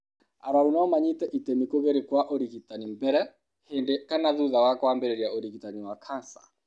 Arũaru no manyite itemi kũgerio kwa ũrigitani mbere, hĩndĩ kana thutha wa kwambĩrĩria ũrigitani wa kanca.